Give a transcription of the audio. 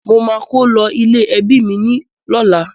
Mo máa kó lo ilé-ẹ́bi mi lọ́la.